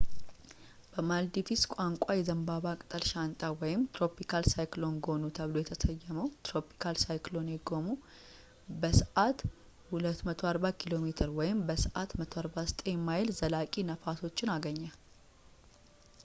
በማልዲቭስ ቋንቋ፣ የዘንባባ ቅጠል ሻንጣ tropical cyclone gonu ተብሎ የተሰየመው ትሮፒካል ሳይክሎኔ ጎኑ፣ በሰዓት 240 ኪ.ሜ በሰዓት 149 ማይል ዘላቂ ነፋሶችን አገኘ